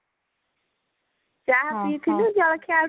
ଚାହା ପିଇଥିଲୁ ଜଳଖିଆ ଆଉ କିଛି